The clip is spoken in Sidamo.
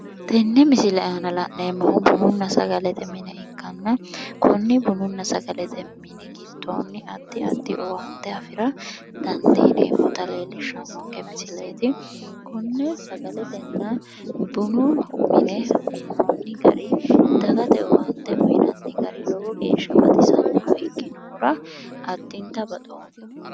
Tenne misile aana la'neemohu bununna sagalete mine ikkana konni bununa sagalete mini gidooni addi addi owaanite afira danidiinemota leelishannoke misilet konne sagaletenna bunu mine minoon gari dagate owaanite uyinanni garii lowo geesha baxisannoha ikkinohura addinita baxooma